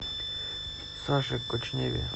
саше кочневе